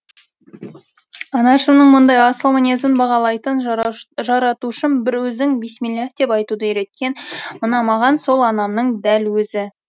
анашымның мұндай асыл мінезін бағалайтын жаратушым бір өзің бисмиллаһ деп айтуды үйреткен мына маған сол анамның дәл өзі